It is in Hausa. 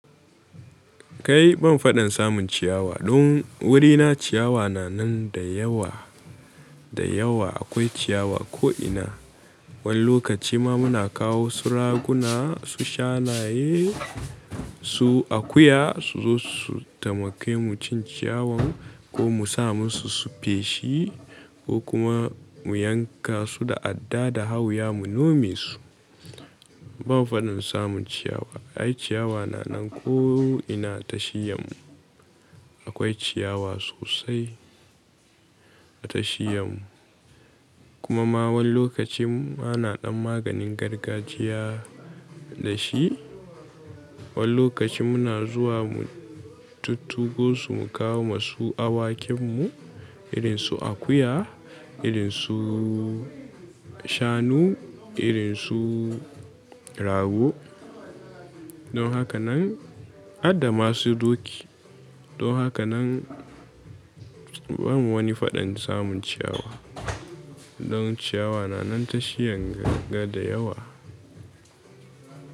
Kai ban faɗin samun ciyawa. Don wurina ciyawa na nan da yawa da yawa akwai ciyawa ko ina. Wani lokaci ma muna kawo su raguna, su shanaye, su akuya su zo su tamake mu cin ciyawan ko mu sa musu su feshi ko kuma mu yanka su da adda da hauya mu nome su. Ban faɗin samun ciyawa. Ai ciyawa na nan ko ina tashiyan mu. Akwai ciyawa sosai a tashiyan mu. Kuma ma wani lokacin ana ɗan maganin gargajiya da shi. Wani lokaci muna zuwa mu tuttugo su mu kawo masu awakin mu irin su akuya, irin su shanu, irin su rago don haka nan adda masu doki. Don haka nan bamu wani faɗin samun ciyawa. Don ciyawa na nan tashiyan gaga da yawa.